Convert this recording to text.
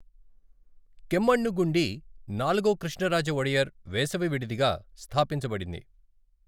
కెమ్మణ్ణుగుండి నాలుగో కృష్ణరాజ ఒడెయర్ వేసవి విడిదిగా స్థాపించబడింది.